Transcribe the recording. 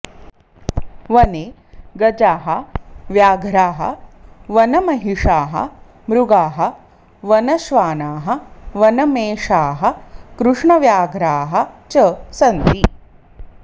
वने गजाः व्याघ्राः वनमहिषाः मृगाः वनश्वानाः वनमेषाः कृष्णव्याघ्राः च सन्ति